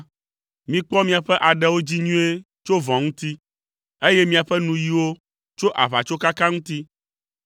mikpɔ miaƒe aɖewo dzi nyuie tso vɔ̃ ŋuti, eye miaƒe nuyiwo tso aʋatsokaka ŋuti.